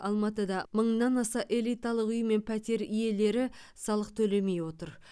алматыда мыңнан аса элиталық үй мен пәтер иелері салық төлемей отыр